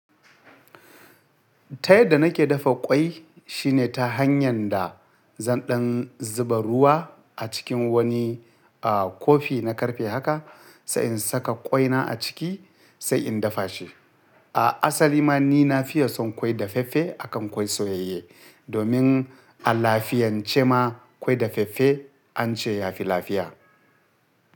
Ta yadda nake dafa ƙwai shine ta hanyar da zan ɗan zuba ruwa a cikin wani kofi na karfe haka, sai in saka ƙwai na a ciki sai in dafa shi. A asali ma ni na fi yawan son ƙwai daffafe akan ƙwai soyayye domin a lafiyance ma ƙwai daffafe an ce ya fi lafiya.